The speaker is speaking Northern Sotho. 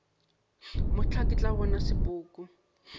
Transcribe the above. mohla ke tla bona sepoko